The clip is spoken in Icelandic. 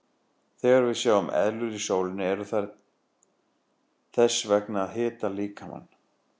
Þegar við sjáum eðlur í sólinni eru þær þess vegna að hita líkamann.